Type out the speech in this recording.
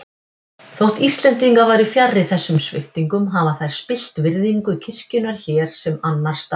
Þótt Íslendingar væru fjarri þessum sviptingum hafa þær spillt virðingu kirkjunnar hér sem annars staðar.